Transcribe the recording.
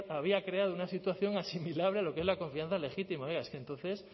había creado una situación asimilable a lo que es la confianza legítima oiga es que entonces